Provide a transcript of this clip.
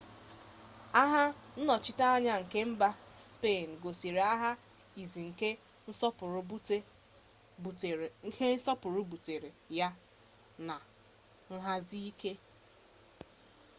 agha nnọchiteanya nke mba spein gosiri agha izi nke nsogbu butere ya bu nhazi ike